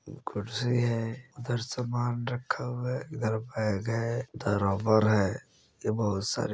कुर्सी है उधर सामान रखा हुआ है इधर बेग है उधर रबर है इधर बहुत सारे --